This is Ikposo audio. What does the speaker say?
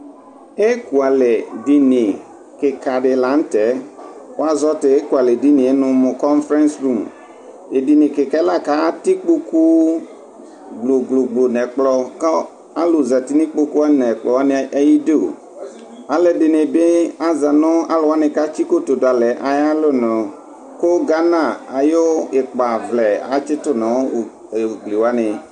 Ekʋalɛ dini kika dɩla nʋ tɛ Wuazɔ tʋ ekʋalɛ dini yɛ nʋ mʋkɔŋferɛŋsirum Tʋ edini kika yɛ li la kʋ atɛ ikpoku glogloglo nʋ ɛkplɔ, kʋ alu zǝti nʋ ikpoku wani li, nʋ ɛkplɔ wani atamidu Alu ɛdɩnɩ bɩ aza nʋ alu wani kʋ atsi kotu dʋ alɛ yɛ ayʋ alɔnʋ Kʋ gana ayʋ ikpavlɛ atsitʋ nʋ ugli wani